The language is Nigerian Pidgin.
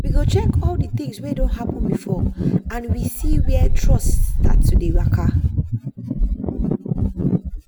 we go check all the things wey don happen before and we see where trust start to dey waka.